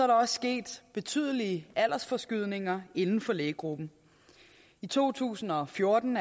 der også sket betydelige aldersforskydninger inden for lægegruppen i to tusind og fjorten